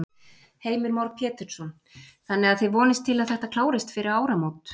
Heimir Már Pétursson: Þannig að þið vonist til að þetta klárist fyrir áramót?